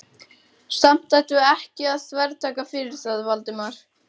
Samt ættum við ekki að þvertaka fyrir það, Valdimar.